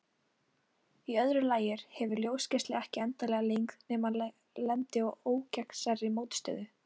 Í öðru lagi hefur ljósgeisli ekki endanlega lengd nema hann lendi á ógegnsærri mótstöðu.